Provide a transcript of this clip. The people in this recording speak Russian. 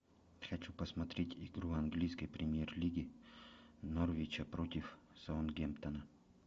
хочу посмотреть игру английской премьер лиги норвича против саутгемптона